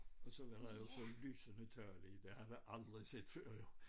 Og så var der jo så lysende tal i det havde jeg aldrig set før jo